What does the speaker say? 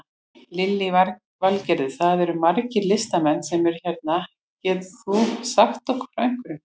Lillý Valgerður: Það eru margir listamenn sem eru hérna, getur þú sagt okkur frá einhverju?